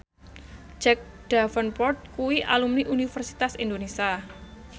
Jack Davenport kuwi alumni Universitas Indonesia